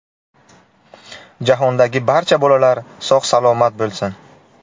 Jahondagi barcha bolalar sog‘-salomat bo‘lsin!